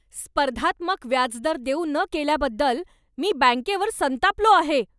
स्पर्धात्मक व्याजदर देऊ न केल्याबद्दल मी बँकेवर संतापलो आहे.